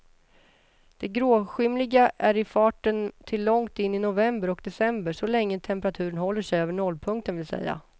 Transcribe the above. Den gråskymliga är i farten till långt in i november och december, så länge temperaturen håller sig över nollpunkten vill säga.